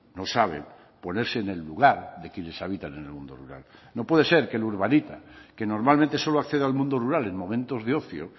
no saben ponerse en el lugar de quienes habitan en el mundo rural no puede ser que el urbanita que normalmente solo accede al mundo rural en momentos de ocio